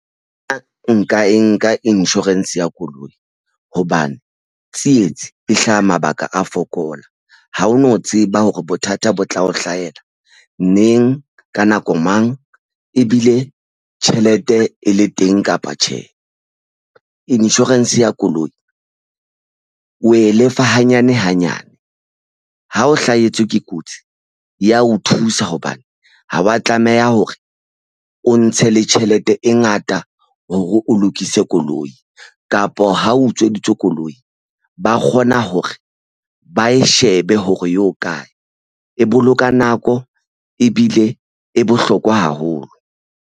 A nka e nka insurance ya koloi hobane tsietsi e hlaha mabaka a fokola. Ha o no tseba hore bothata bo tla o hlahela neng ka nako mang ebile tjhelete e le teng kapa tjhe. Insurance ya koloi o e lefa hanyane hanyane ha o hlahetswe ke kotsi e ya o thusa hobane ha wa tlameha hore o ntshe le tjhelete e ngata hore o lokise koloi kapa ho utsweditswe koloi ba kgona hore ba e shebe hore e ho kae. E boloka nako ebile e bohlokwa haholo.